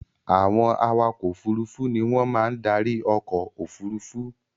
Àwọn awakọ̀ òfurufú ni wọ́n máa ń darí ọkọ̀-òfurufú.